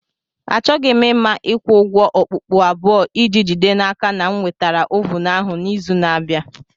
Achọghị m ịma ịkwụ ụgwọ okpukpu abụọ iji jide n'aka na m nwetara ovun ahụ n'izu na-abịa.